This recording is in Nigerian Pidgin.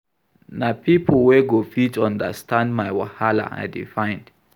Na pipo wey go fit understand my wahala I dey find.